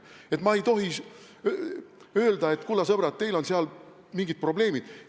Et ma ei tohi öelda, et, kulla sõbrad, teil on seal mingid probleemid?